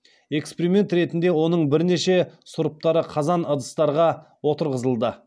эксперимент ретінде оның бірнеше сұрыптары қазан ыдыстарға отырғызылды